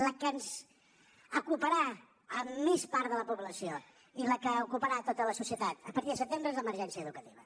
la que ens ocuparà més part de la població i la que ocuparà tota la societat a partir de setembre és l’emergència educativa